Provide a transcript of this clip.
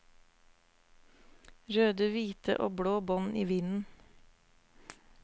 Røde, hvite og blå bånd i vinden.